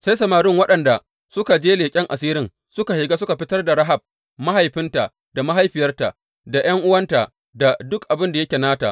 Sai samarin waɗanda suka je leƙen asirin suka shiga suka fitar da Rahab, mahaifinta da mahaifiyarta, da ’yan’uwanta da duk abin da yake nata.